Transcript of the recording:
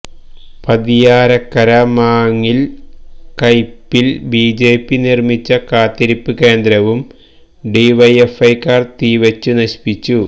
പതിയാരക്കര മാങ്ങില് കൈപ്പില് ബിജെപി നിര്മ്മിച്ച കാത്തിരിപ്പ്കേന്ദ്രവും ഡിവൈഎഫ്ഐക്കാര് തീവെച്ച് നശിപ്പിച്ചു